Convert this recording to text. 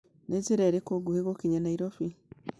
nĩ njĩra ĩriku ngũhi gũkinya nairobi